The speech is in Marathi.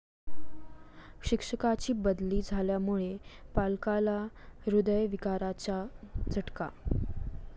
शिक्षकाची बदली झाल्यामुळे पालकाला हृदयविकाराचा झटका